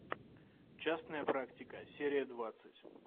частная практика серия двадцать